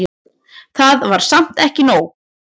Það var samt ekki nóg.